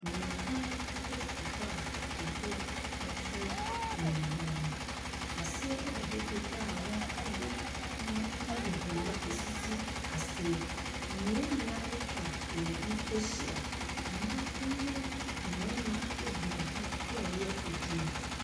Nnua dan esi hɔ a atwedeɛ ɛtwere nnua dan no. Aseɛ ɛda hɔ petee a wɔn ɛde pono ɛne nkonwa asisi aseɛ. Ennua nua atwa wɔn ho ahyia. Ɛmaa ɛne mmɛɛma egyina ho ɛɛyɛ adwuma.